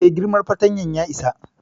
E, girman fatanyan ya isa.